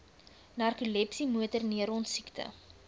narkolepsie motorneuron siekte